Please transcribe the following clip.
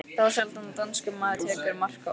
Þá sjaldan danskur maður tekur mark á orðum